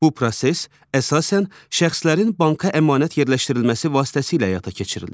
Bu proses əsasən şəxslərin banka əmanət yerləşdirilməsi vasitəsilə həyata keçirilir.